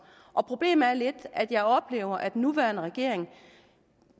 problemet er lidt at jeg oplever at den nuværende regering